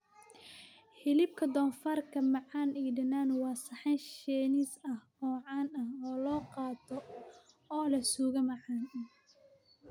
Hilibka doofaarka macaan iyo dhanaan waa saxan Shiinees ah oo caan ah oo la qaato oo leh suugo macaan.